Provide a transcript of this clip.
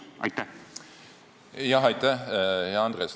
Aitäh, hea Andres!